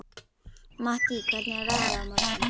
Mattý, hvernig er veðrið á morgun?